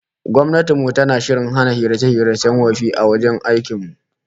Gwamnatin mu tana shirin hana hirace-hiracen wofi a wuraren aiki